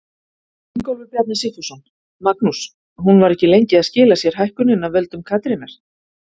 Ingólfur Bjarni Sigfússon: Magnús, hún var ekki lengi að skila sér hækkunin af völdum Katrínar?